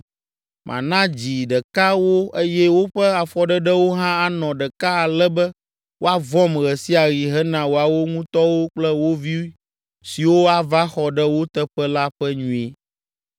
Mana dzi ɖeka wo eye woƒe afɔɖeɖewo hã anɔ ɖeka ale be woavɔ̃m ɣe sia ɣi hena woawo ŋutɔwo kple wo vi siwo ava xɔ ɖe wo teƒe la ƒe nyui.